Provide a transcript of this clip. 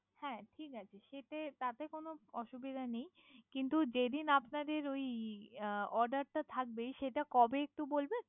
হ্যা ঠিক আছে। যেতে তাতে কোন অসুবিধা নেই। কিন্ত যেদিন আপনাদের ওই Order টা থাকবে সেটা কবে? একটু বলবেন।